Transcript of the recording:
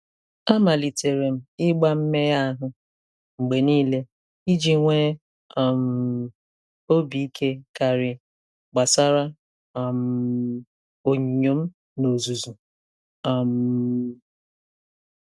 A malitere m ịgba mmegha ahụ mgbe niile, iji nwee um obi ike karị gbasara um onyinyo m n'ozuzu. um